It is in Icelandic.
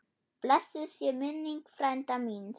Blessuð sé minning frænda míns.